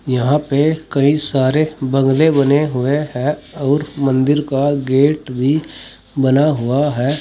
यहां पे कई सारे बंगले बने हुए हैं आऊर मंदिर का गेट भी बना हुआ है।